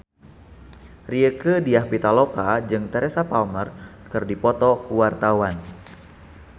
Rieke Diah Pitaloka jeung Teresa Palmer keur dipoto ku wartawan